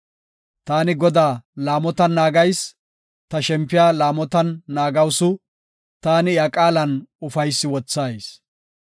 Taani Godaa laamotan naagayis; ta shempiya laamotan naagawusu; taani iya qaalan ufaysi wothayis.